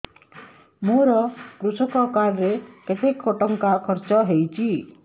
ମୋ କୃଷକ କାର୍ଡ ରେ କେତେ ଟଙ୍କା ଖର୍ଚ୍ଚ ହେଇଚି